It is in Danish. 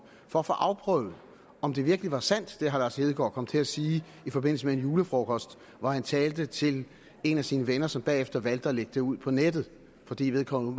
for at få afprøvet om det virkelig er sandt hvad herre lars hedegaard kom til at sige i forbindelse med en julefrokost hvor han talte til en af sine venner som bagefter valgte at lægge det ud på nettet fordi vedkommende